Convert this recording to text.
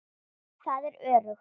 Það er öruggt.